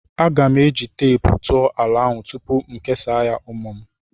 Aga m eji teepu tụọ ala ahụ tupu m kesaa ya ụmụ m.